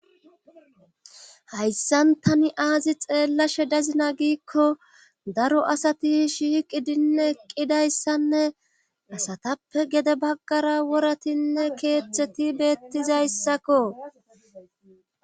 Hayssan tani aazi xeellashe dazina giikko daro asati shiiqidinne eqqidayssanne asatappe gede baggara woratinne keeththeti beettizayssakko.